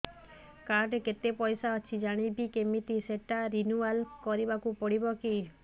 card ରେ କେତେ ପଇସା ଅଛି ଜାଣିବି କିମିତି ସେଟା ରିନୁଆଲ କରିବାକୁ ପଡ଼ିବ କି